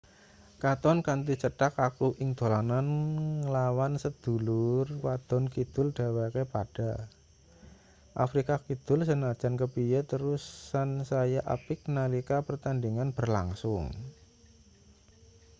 katon kanthi cetha kaku ing dolanan nglawan sedulur wadon kidul dheweke padha afrika kidul sanajan kepiye terus sansaya apik nalika pertandhingan berlangsung